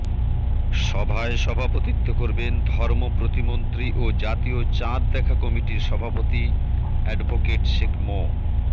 সভায় সভাপতিত্ব করবেন ধর্ম প্রতিমন্ত্রী ও জাতীয় চাঁদ দেখা কমিটির সভাপতি অ্যাডভোকেট শেখ মো